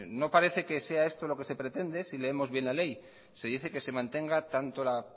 no parece que sea esto lo que se pretende si leemos bien la ley se dice que se mantenga tanto la